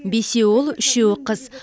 бесеуі ұл үшеуі қыз